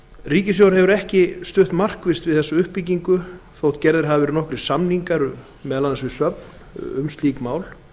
ríkissjóður hefur ekki stutt markvisst við þessa uppbyggingu þótt gerðir hafi verið nokkrir samningar við söfn um slík mál